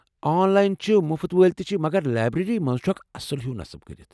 آن line چھِ مُفت وٲلۍ تہِ چھِ ، مگر لایبریٚری منٛز چھُ اکھ اصٕل ہیُو نصب کرِتھ ۔